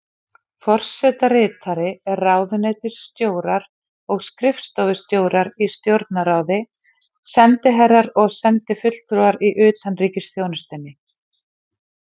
Forsetaritari, ráðuneytisstjórar og skrifstofustjórar í Stjórnarráði, sendiherrar og sendifulltrúar í utanríkisþjónustunni.